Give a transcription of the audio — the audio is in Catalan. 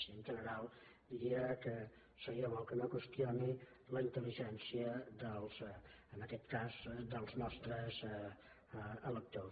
i en general diria que seria bo que no qüestioni la intel·ligència dels en aquest cas nostres electors